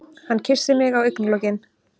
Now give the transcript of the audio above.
Hann kyssir mig á augnalokin.